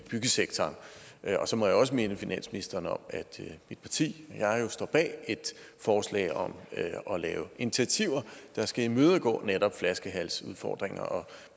byggesektoren og så må jeg også minde finansministeren om at mit parti og jeg jo står bag et forslag om at lave initiativer der skal imødegå netop flaskehalsudfordringer og